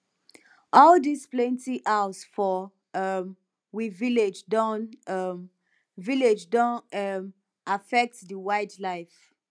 all dis plenty plenty house for um we village don um village don um affect di wildlife